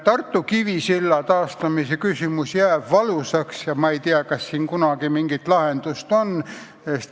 Tartu Kivisilla taastamise küsimus on valus, ma ei tea, kas sellele kunagi mingi lahendus leitakse.